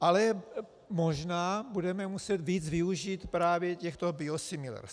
Ale možná budeme muset víc využít právě těchto biosimilars.